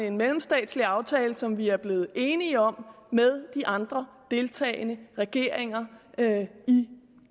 en mellemstatslig aftale som vi er blevet enige om med de andre deltagende regeringer i